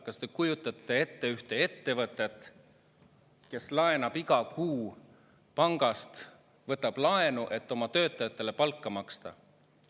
Kas te kujutate ette ühte ettevõtet, kes iga kuu võtab pangast laenu, et oma töötajatele palka maksta?